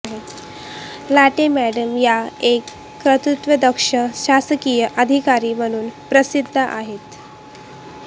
latte madam या एक कर्तव्यदक्ष शासकीय अधिकारी म्हणून प्रसिद्ध आहेत